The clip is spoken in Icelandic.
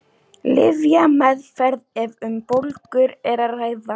Lyfjameðferð ef um bólgur er að ræða.